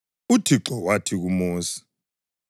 UThixo wathi kuMosi: